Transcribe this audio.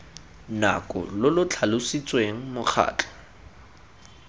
nako lo lo tlhalositsweng mokgatlho